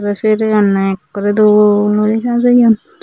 seri ganney ekkorey dol ori sajeyon.